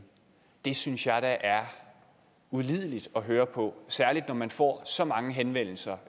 det synes jeg da er ulideligt at høre på særlig når man får så mange henvendelser